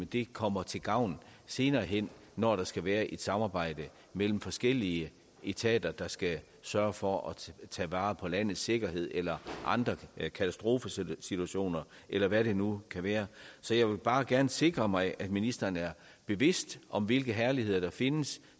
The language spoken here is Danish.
det kommer til gavn senere hen når der skal være et samarbejde mellem forskellige etater der skal sørge for at tage vare på landets sikkerhed eller katastrofesituationer eller hvad det nu kan være så jeg vil bare gerne sikre mig at ministeren er bevidst om hvilke herligheder der findes